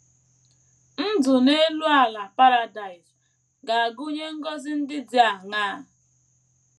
Ndụ n’elu ala Paradaịs ga - agụnye ngọzi ndị dị aṅaa?